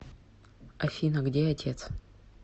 афина где отец